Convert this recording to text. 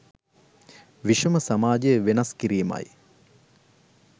විෂම සමාජය වෙනස් කිරීම යි.